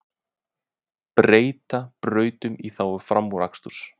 Breyta brautum í þágu framúraksturs